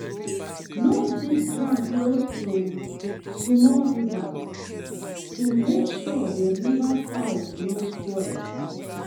no dig ground close to small rivers to make sure the river side no spoil.